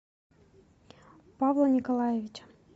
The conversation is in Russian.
павла николаевича